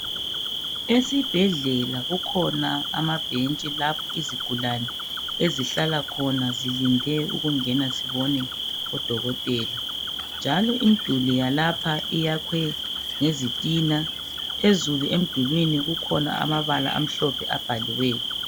Esibhedlela kukhona amabhentshi lapho izigulane ezihlala khona zilinde ukungena zibone odokotela njalo imiduli yalapha iyakhwe ngezitina. Phezulu emdulwini kukhona amabala amhlophe abhaliweyo.